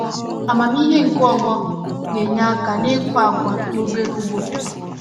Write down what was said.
Amamihe nke ọgbọ na-enye aka n’ịkụ agwa na obere ugbo.